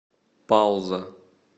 пауза